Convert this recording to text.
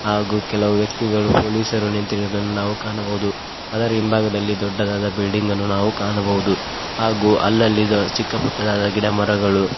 ಹಾಗು ಕೆಲವು ವ್ಯಕ್ತಿಗಳು ಪೊಲೀಸರು ನಿಂತಿರುವುದನ್ನು ನಾವು ಕಾಣಬಹುದು ಆದರ ಹಿಂಭಾಗದಲ್ಲಿ ದೊಡ್ಡದಾದ ಬಿಲ್ಡಿಂಗ್ ಅನ್ನು ನಾವು ಕಾಣಬಹುದು ಹಾಗು ಅಲ್ಲಲಿ ಚಿಕ್ಕ ಪುಟ್ಟದಾದ ಗಿಡಮರಗಳು--